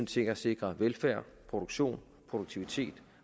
til at sikre velfærd produktion produktivitet